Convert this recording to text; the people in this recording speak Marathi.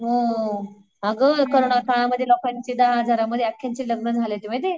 हो आग कोरोना काळामध्ये लोकांचे दहा हजारामध्ये आख्यानचे लग्न झाले होते माहीतीये.